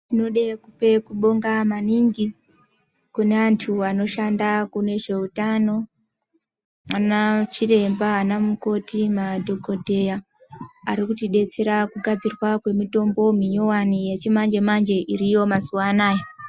Tinode kupe kubonga maningi, kune antu anoshanda kune zveutano, anachiremba, anamukoti, madhokodheya ,ari kutidetsera kugadzirwa kwemitombo minyuwani yechimanje-manje iriyo mazuwa anaya